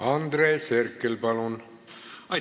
Andres Herkel, palun!